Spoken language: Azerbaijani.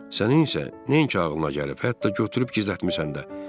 Sənin isə nəinki ağlına gəlib, hətta götürüb gizlətmisən də.